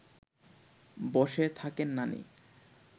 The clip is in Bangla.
বসে থাকেন নানি